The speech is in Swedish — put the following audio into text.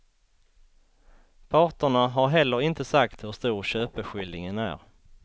Parterna har heller inte sagt hur stor köpeskillingen är.